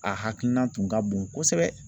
A hakilina tun ka bon kosɛbɛ